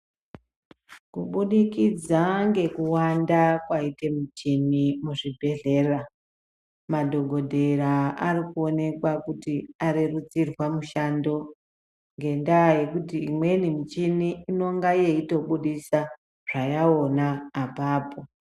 Kubudikidza ngekuwanda kwaite mishini muzvibhedhlera, madhokodhera ari kuonekwa kuti arerutsirwa mushando ngendaa yekuti imweni mishini inonga yeitobudisa zvayaona apapo.